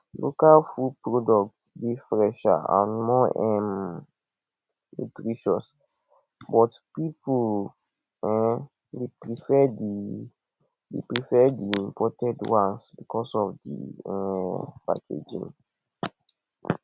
local food products dey fresher and more um nutritious but people um dey prefer di dey prefer di imported ones because of di um packaging